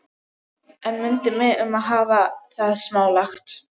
En mundu mig um að hafa það smálegt.